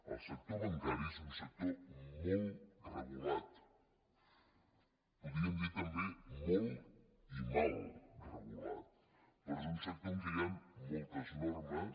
el sector bancari és un sector molt regulat podríem dir també molt i mal regulat però és un sector en què hi han moltes normes